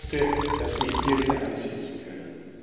Ich hoffe, dass wir hier wieder ansetzen können.